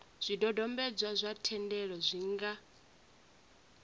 zwidodombedzwa zwa thendelo zwi nga